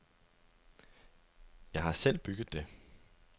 Jeg har selv bygget det.